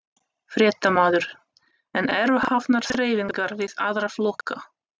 Fréttamaður: En eru hafnar þreifingar við aðra flokka?